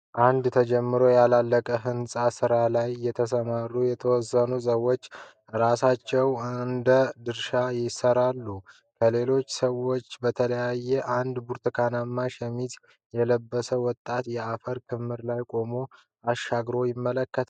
አንድ ተጀምሮ ያላለቀ ህንጻ ስራ ላይ የተሰማሩ የተወሰኑ ሰዎች ስራቸውን እንደ ድርሻቸው ይሰራሉ። ከሌሎቹ ሰዎች በተለየ አንድ ብርቱካናማ ሸሚዝ የለበሰ ወጣት የአፈር ክምር ላይ ቆሞ አሻግሮ ይመለከታል።